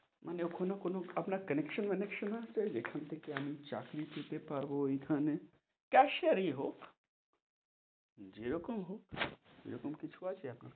মানে ওখানে আপনার কোনো connection ওঅনেক্শন আছে, যেখান থেকে আমি চাকরি পেতে পারবো ওইখানে, cashier এ হোক, যেরকম হোক, সেরকম কিছু আছে, এখন,